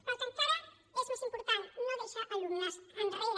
però el que encara és més important no deixa alumnes enrere